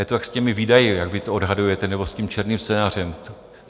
Je to jak s těmi výdaji, jak vy to odhadujete, nebo s tím černým scénářem.